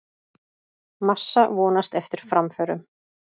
Massa vonast eftir framförum